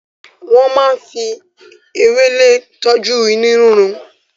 Wọ́n máa ń fi ewéle tọ́jú inú rírun.